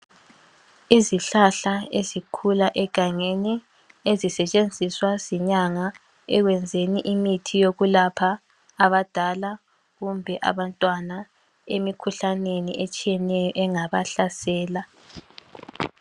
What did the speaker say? Izihlahla ezikhula egangeni ezisetshenziswa zinyanga ekwenzeni imithi yokulapha abadala kumbe abantwana emikhuhlaneni etshiyeneyo engabahlasela.